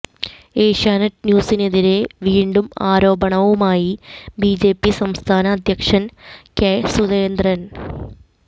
ഏഷ്യാനെറ്റ് ന്യൂസിനെതിരെ വീണ്ടും ആരോപണവുമായി ബിജെപി സംസ്ഥാന അധ്യക്ഷന് കെ സുരേന്ദ്രന്